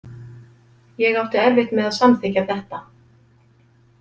Ég átti erfitt með að samþykkja þetta.